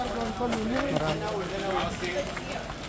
Ay ərzində nəsə oldu yenə əksi.